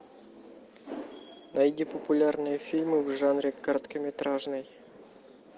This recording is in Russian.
найди популярные фильмы в жанре короткометражный